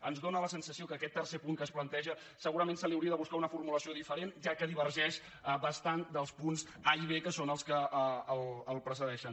ens dóna la sensació que a aquest tercer punt que es planteja segurament se li hauria de buscar una formulació diferent ja que divergeix bastant dels punts a i són els que el precedeixen